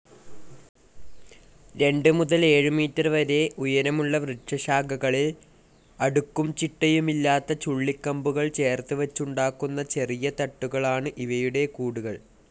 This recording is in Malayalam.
രണ്ട് മുതൽ ഏഴുമീറ്റർ വരെ ഉയരമുള്ള വൃക്ഷശാഖകളിൽ അടുക്കും ചിട്ടയുമില്ലാത്തചുള്ളിക്കമ്പുകൾ ചേർത്തുവച്ചുണ്ടാക്കുന്ന ചെറിയ തട്ടുകളാണ് ഇവയുടെ കൂടുകൾ.